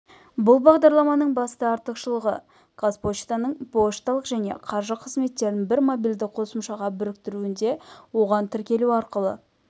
бұл бағдарламаның басты артықшылығы қазпоштаның пошталық және қаржы қызметтерін бір мобильді қосымшаға біріктіруінде оған тіркелу арқылы